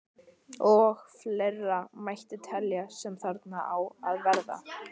Og fleira mætti telja sem þarna á að verða.